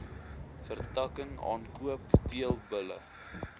vertakking aankoop teelbulle